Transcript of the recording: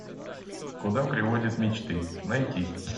куда приводят мечты найти